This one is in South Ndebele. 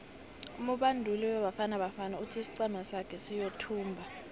umubanduli webafana bafana uthi isiqhema sake siyothumba